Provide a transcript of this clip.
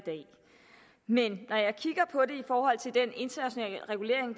men i forhold til den internationale regulering